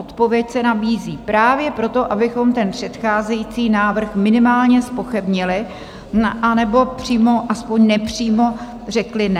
Odpověď se nabízí: právě proto, abychom ten předcházející návrh minimálně zpochybnili, anebo přímo aspoň nepřímo řekli ne.